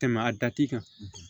Tɛmɛ a dati kan